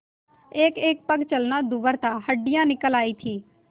एकएक पग चलना दूभर था हड्डियाँ निकल आयी थीं